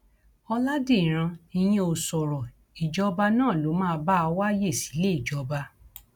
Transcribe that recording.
ọlàdíràn ìyẹn ò sọrọ ìjọba náà ló máa bá a wá ààyè síléejọba